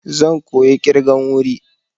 Zan koya ƙirgan wuri.